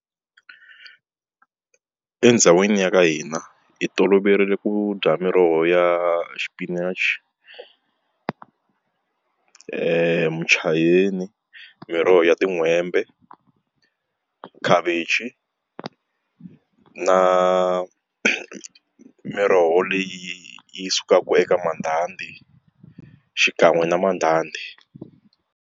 Endhawini ya ka hina hi toloverile ku dya miroho ya swipinachi muchayeni miroho ya tin'hwembe khavichi na miroho leyi yi sukaka eka mandhandhi xikan'we na mandhandhi.